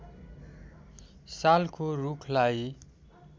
सालको रूखलाई